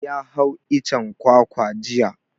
Ya hau icen kwakwa jiya.